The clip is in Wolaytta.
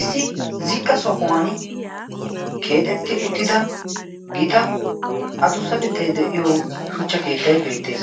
issi ziqqa sohuwan keexetti uttida gita adussatettai de7iyo shuchcha keettai beettees